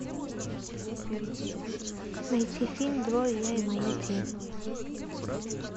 найти фильм двое я и моя тень